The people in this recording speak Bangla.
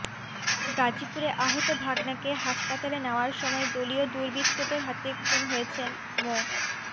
গাজীপুরে আহত ভাগ্নেকে হাসপাতালে নেওয়ার সময় দলীয় দুর্বৃত্তদের হাতে খুন হয়েছেন মো